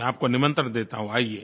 मैं आपको निमंत्रण देता हूँ आइए